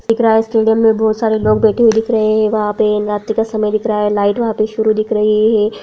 दिख रहा स्टेडियम में बहुत सारे लोग बैठे हुए दिख रहे है वहाँ पे रात का समय दिख रहा है लाइट वहाँ पे शुरू दिख रही है।